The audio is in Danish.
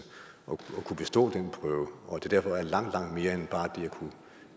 at kunne bestå den prøve og at det derfor indebærer langt langt mere end bare det at kunne